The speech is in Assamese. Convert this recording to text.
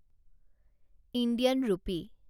ইণ্ডিয়ান ৰূপী